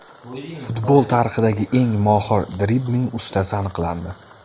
Futbol tarixidagi eng mohir dribling ustasi aniqlandi.